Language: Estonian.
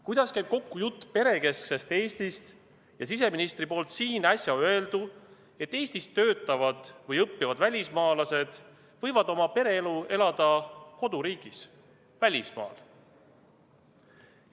Kuidas käib kokku jutt perekesksest Eestist ja siseministri siin äsja öeldu, et Eestis töötavad või õppivad välismaalased võivad oma pereelu elada koduriigis, välismaal?